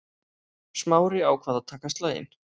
Smári ákvað að taka slaginn.